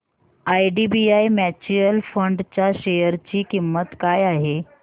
IDBI mutual fund च्या share ची किंमत काय आहे